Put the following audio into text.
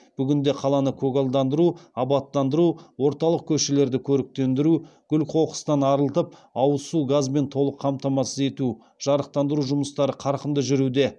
бүгінде қаланы көгалдандыру абаттандыру орталық көшелерді көріктендіру күл қоқыстан арылтып ауыз су газбен толық қамтамасыз ету жарықтандыру жұмыстары қарқынды жүруде